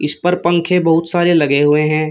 इस पर पंख बहुत सारे लगे हुए हैं।